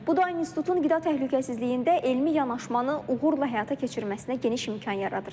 Bu da institutun qida təhlükəsizliyində elmi yanaşmanı uğurla həyata keçirməsinə geniş imkan yaradır.